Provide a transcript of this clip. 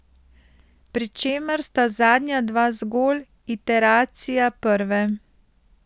Pri čemer sta zadnja dva zgolj iteracija prve.